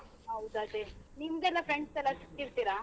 ಹೌದು ಅದೇ, ನಿಮ್ದೆಲ್ಲ friends ಎಲ್ಲ ಸಿಕ್ತಿರ್ತೀರ?